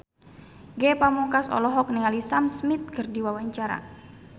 Ge Pamungkas olohok ningali Sam Smith keur diwawancara